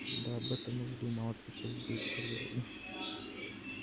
да об этом уж думал ответил билл серьёзно